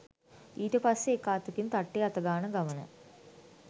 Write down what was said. ඊට පස්සේ එක අතකින් තට්ටේ අතගාන ගමන